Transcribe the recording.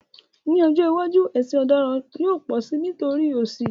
Ní ọjọ́ iwájú, ẹ̀sùn ọ̀daràn yóò pọ̀ si nítorí òṣì